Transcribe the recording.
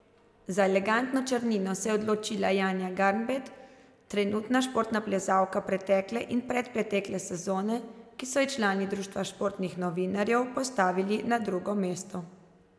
Za elegantno črnino se je odločila Janja Garnbret, najboljša športna plezalka pretekle in predpretekle sezone, ki so ji člani Društva športnih novinarjev postavili na drugo mesto.